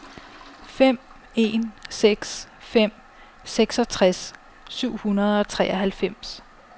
fem en seks fem seksogtres syv hundrede og treoghalvfems